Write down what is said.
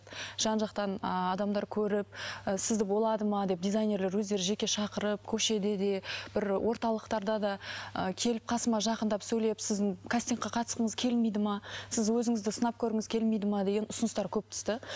жан жақтан ыыы адамдар көріп і сізді болады ма деп дизайнерлер өздері жеке шақырып көшеде де бір орталықтарда да ы келіп қасыма жақындаап сөйлеп сіздің кастингке қатысқыңыз келмейді ме сіз өзіңізді сынап көргіңіз келмейді ме деген ұсыныстар көп түсті